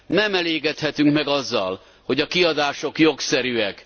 Nem elégedhetünk meg azzal, hogy a kiadások jogszerűek.